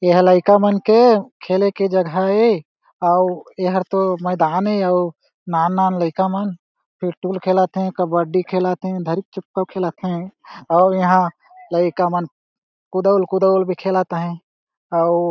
एहा लइका मन के खेले के जगह हे आउ ये हरतो मैदान हे आउ नान-नान लइका मन पिट्टुल खेलत हे कबड्डी खेलत हे धरिक चिपकू खेलत हे अउ इहा लइका मन कुदउल-कुदउल भी खेलत आहे अउ--